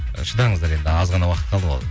шыдаңыздар енді аз ғана уақыт қалды ғой